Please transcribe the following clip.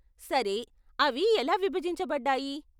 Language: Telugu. సరే, అవి ఎలా విభజించబడ్డాయి ?